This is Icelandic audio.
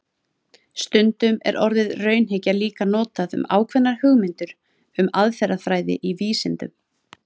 Stundum er orðið raunhyggja líka notað um ákveðnar hugmyndir um aðferðafræði í vísindum.